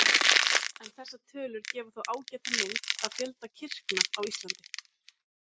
En þessar tölur gefa þó ágæta mynd af fjölda kirkna á Íslandi.